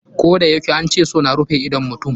Koh da yake an ce so na rufe idon mutum.